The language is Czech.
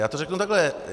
Já to řeknu takhle.